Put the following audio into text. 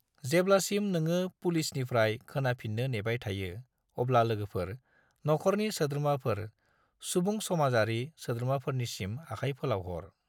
जेब्लासिम नोङो पुलिसनिफ्राय खोनाफिननो नेबाय थायो अब्ला लोगोफोर, नख'रनि सोद्रोमाफोर, सुबुंसमाजारि सोद्रोमाफोरनिसिम आखाय फोलाव हर।